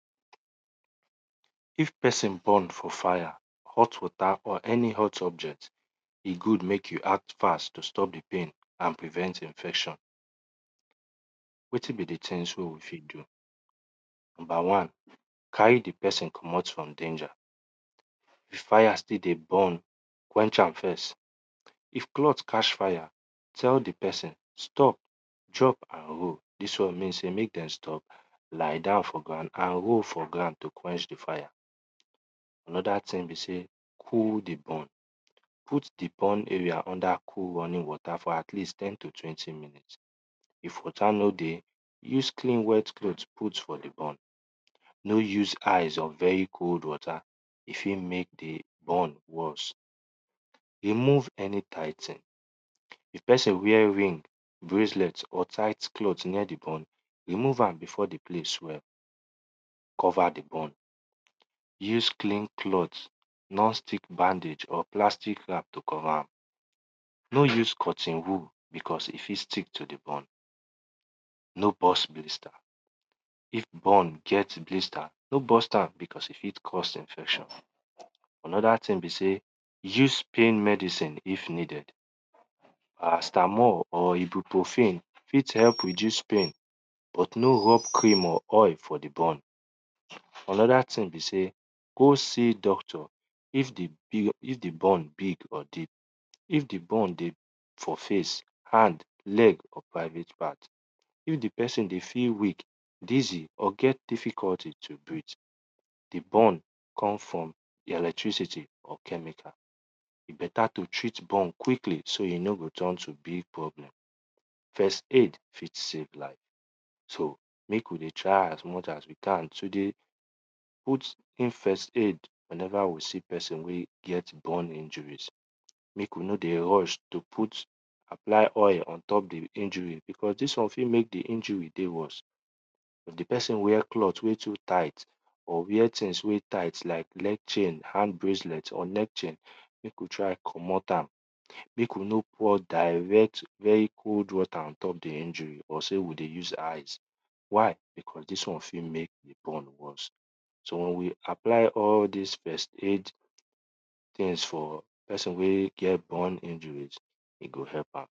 If pesin burn for fire, hot water pour any hot object, e good mek you act fast to stop di pain and prevent infection. Wetin be di things wey we fit do. Number wan, carry di pesin commot from danger, if fire still dey burn, quencjh am first, if cloth catch fire, tell di pesin stop drop and role, dis won mean seymek dem stop, lie down for ground and roll for ground to stop di fire. Anoda wan be sey cool di burn. Put di burntarea under running water for at least ten to twenty minute, if water no dey use clean wet cloth put for di burn, no use eyes of very cold water e firt mek di burn worse. Remove sny tight thng, if pesin wear rings, bracelet, or tight cloth near di burn, remove am before di place swell. Cover di burn, use cleqan cloth, nor tek bandage of plastic bag to cover am. No use cotton wool because e fit stick to di burn. No burst blistr, if brn get lster no burst am becqause e fit cause infection. Anoda thing be sey use pill medicine if needed, parastamol or ibupprofin fit help reduce pain but no rub cream or oil for di burn. Anoda thing be sey go see doctor if di burn big or di if di burn dey for face hand, leg or private part. If di pesin dey feel weak, dizzy of get difficulty to breath, di burn ome from electricity or chemical, e beta to treat burn quickly so no go turn to big problem. First aid fit save life so mek we dey try as much as we can to dey put in first aid wen ever we see pesin wey get burn injuris. Mek we no dey rush dey apply oil ontop di injury because dis one fit mek di injury dey worse. If di pesin wear cloth wen too tight, like leg chain, hand braclet, or leg chain, mek we try commot am, mek we no pour direct cold wate ontop di injuryor sey we dey use ice why because dis won fit mek di burn worse so wen we apply all dis first aid things for pesin wey get dis burn injuries, e go hekp am.